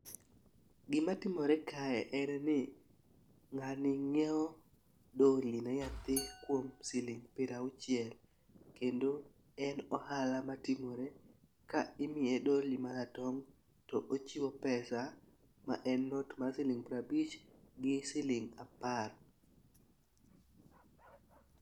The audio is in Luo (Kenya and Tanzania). Gima timore kae en ni ng'ani ng'iewo doli ne nyathi kuom siling' pra auchiel kendo en ohala matimore ka imiye doli maratong' to ochiwo pesa ma en not mar siling' prabich gi siling' apar.